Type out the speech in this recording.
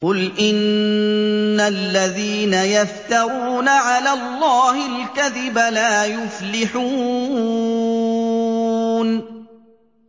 قُلْ إِنَّ الَّذِينَ يَفْتَرُونَ عَلَى اللَّهِ الْكَذِبَ لَا يُفْلِحُونَ